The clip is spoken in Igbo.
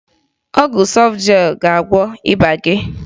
Ọgwụ Sọfjel ga-agwọ ịba gị